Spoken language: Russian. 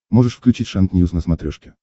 можешь включить шант ньюс на смотрешке